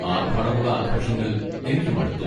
ആർഭാടമുള്ള ആഘോഷങ്ങൾ എനിക്ക് മടുത്തു.